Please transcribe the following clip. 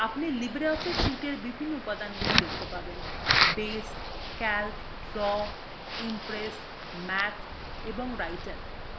আপনি libreoffice suiteএর বিভিন্ন উপাদানগুলি দেখতে পাবেনbase calc draw impress ম্যাথ এবং writer